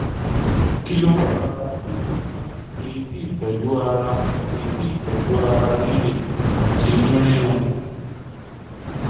Kí ló ń fa ara gbigbona, eebi pelu ara eebi pelu ara rire ati inu rirun?